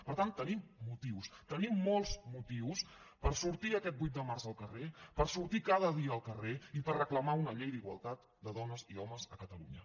per tant tenim motius tenim molts motius per sortir aquest vuit de març al carrer per sortir cada dia al carrer i per reclamar una llei d’igualtat de dones i homes a catalunya